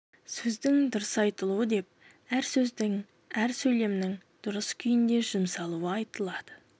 сөздің дұрыс айтылуы деп әр сөздің әр сөйлемнің дұрыс күйінде жұмсалуы айтылады